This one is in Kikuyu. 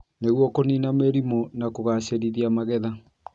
nĩguo kũniina mĩrimũ na kũgaacĩrithia magetha.